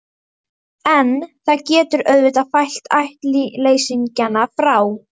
En það getur auðvitað fælt ættleysingjana frá.